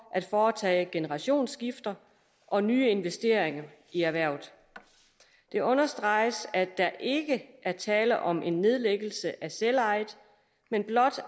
at foretage generationsskifter og nye investeringer i erhvervet det understreges at der ikke er tale om en nedlæggelse af selvejet men